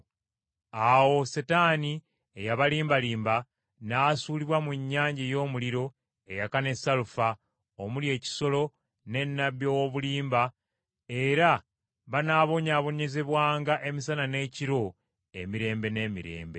Awo Setaani eyabalimbalimba n’asuulibwa mu nnyanja ey’omuliro eyaka ne salufa, omuli ekisolo ne nnabbi ow’obulimba era banaabonyaabonyezebwanga emisana n’ekiro emirembe n’emirembe.